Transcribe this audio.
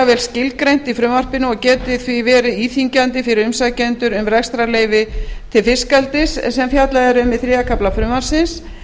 vel skilgreint í frumvarpinu og geti því verið íþyngjandi fyrir umsækjendur um rekstrarleyfi til fiskeldis sem fjallað er um í þriðja kafla frumvarpsins